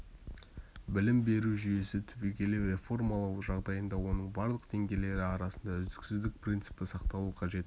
білім беру жүйесін түбегейлі реформалау жағдайында оның барлық деңгейлері арасында үздіксіздік принципі сақталуы қажет